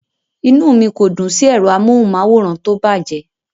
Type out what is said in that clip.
Inú mi kò dùn sí ẹ̀rọ amóhùnmáwòrán tó bàjẹ́.